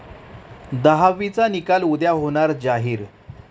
दहावीचा निकाल उद्या होणार जाहीर